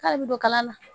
K'ale bɛ don kala la